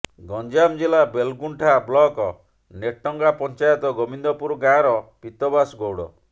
ଗଞ୍ଜାମ ଜିଲ୍ଳା ବେଲଗୁଣ୍ଠା ବ୍ଲକ ନେଟଙ୍ଗା ପଞ୍ଚାୟତ ଗୋବିନ୍ଦପୁର ଗାଁର ପୀତବାସ ଗୌଡ଼